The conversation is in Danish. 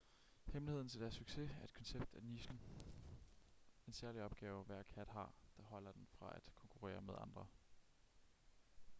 hemmeligheden til deres succes er et koncept af nichen en særlig opgave hver kat har der holder den fra at konkurrere med andre